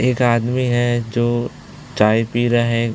एक आदमी है जो चाय पी रहा है।